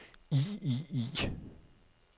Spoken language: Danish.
i i i